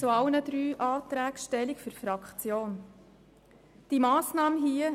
Ich nehme nachfolgend im Namen der Fraktion zu allen drei Anträgen Stellung.